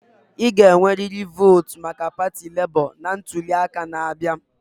Ị ga-enwerịrị votu maka pati Lebo na ntuli aka na-abịa.